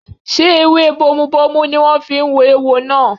Ṣé ewé bomubómú ni wọ́n fi wo eéwo náà?